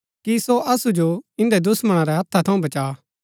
कि सो असु जो इन्दै दुश्‍मणा रै हथा थऊँ बचा